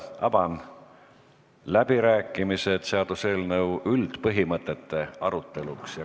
Avan läbirääkimised seaduseelnõu üldpõhimõtete aruteluks.